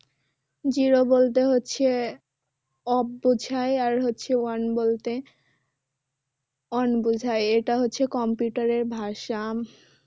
Zero বলতে হচ্ছে off বোঝায় আর হচ্ছে one বলতে on বোঝায় এটা হচ্ছে computer এর ভাষা